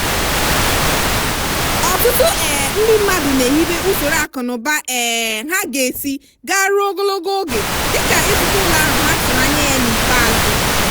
ọtụtụ um ndị mmadụ na-ehibe usoro akụ na ụba um ha ga esi gaa ruo ogologo oge dịka ịzụta ụlọ ahụ ha tụrụ anya ya n'ikpeazụ.